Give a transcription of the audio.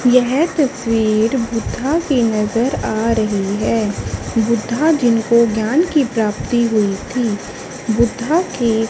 यह तस्वीर बुद्धा की नजर आ रही है बुद्धा जिनको ज्ञान की प्राप्ति हुई थी बुद्धा की --